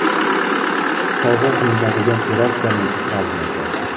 Sovg‘a qilinadigan terrasaning fragmenti.